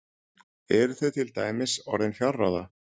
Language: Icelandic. Eru þau til dæmis orðin fjárráða?